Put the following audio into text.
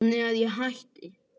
Þannig að ég hætti.